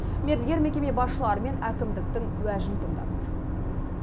мердігер мекеме басшылары мен әкімдіктің уәжін тыңдады